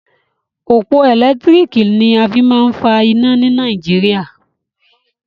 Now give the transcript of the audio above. Òpó ẹ̀lẹ́tírìkì ni a fí máa ń fa iná ni Nàìjíríà.